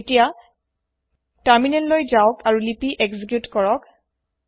এতিয়া তাৰমিনেল লৈ যাওক আৰু লিপি এক্সিকিউত কৰক